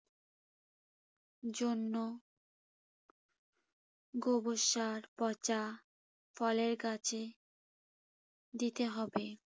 জন্য গোবর সার পঁচা ফলের গাছে দিতে হবে।